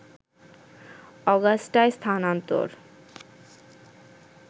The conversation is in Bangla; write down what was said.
অগাস্টায় স্থানান্তর